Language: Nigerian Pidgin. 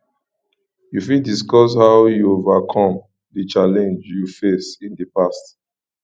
you fit discuss how you overcome di challenges you face in di past